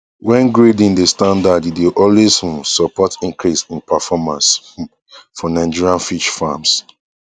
wen grading dey standard e dey always um support increase in performance um for nigerian fish farms